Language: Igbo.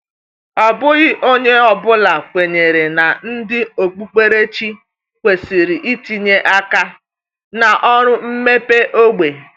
Ọ bụghị onye ọ bụla kwenyere na ndị okpukperechi kwesịrị itinye aka na ọrụ mmepe ógbè.